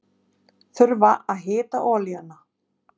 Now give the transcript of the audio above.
Þurfa að hita olíuna